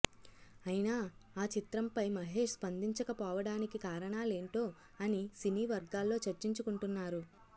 అయినా ఆ చిత్రం పై మహేష్ స్పందిచక పోవడానికి కారణాలేంటో అని సినీ వర్గాల్లో చర్చించుకుంటున్నారు